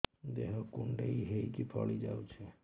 ଦେହ କୁଣ୍ଡେଇ ହେଇକି ଫଳି ଯାଉଛି